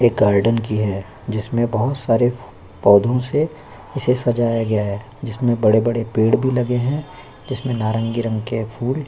ये गार्डन की है जिसमे बहुत सारे पोधो से इसे सजाया गया है जिसमे बड़े-बड़े पेड़ भी लगे है जिसमे नारंगी रंग के फूल--